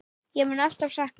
Ég mun alltaf sakna þín.